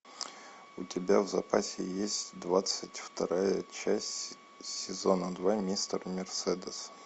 у тебя в запасе есть двадцать вторая часть сезона два мистер мерседес